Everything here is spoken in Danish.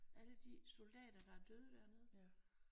Alle de soldater der er døde dernede